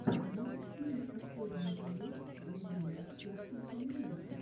можешь включить последний эпизод даринелки детского канала